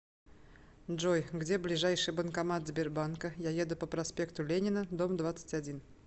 джой где ближайший банкомат сбербанка я еду по проспекту ленина дом двадцать один